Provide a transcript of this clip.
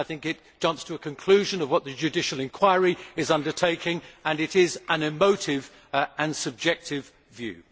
I think it jumps to a conclusion on what the judicial inquiry is undertaking and it is an emotive and subjective view.